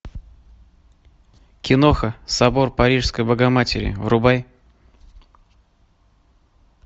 киноха собор парижской богоматери врубай